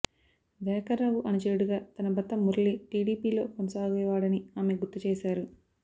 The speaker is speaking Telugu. దయాకర్రావు అనుచరుడిగా తన భర్త మురళి టిడిపిలో కొనసాగేవాడని ఆమె గుర్తు చేశారు